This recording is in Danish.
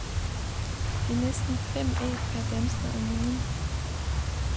Det er næsten fem æg per dansker om ugen.